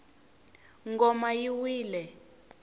ngoma yi wile